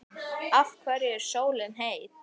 Af hverju er sólin heit?